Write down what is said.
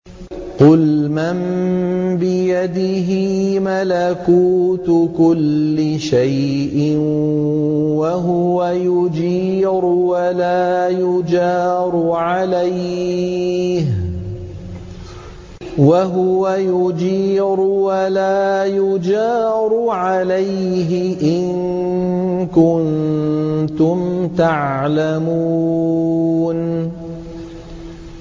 قُلْ مَن بِيَدِهِ مَلَكُوتُ كُلِّ شَيْءٍ وَهُوَ يُجِيرُ وَلَا يُجَارُ عَلَيْهِ إِن كُنتُمْ تَعْلَمُونَ